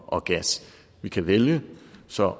og gas vi kan vælge så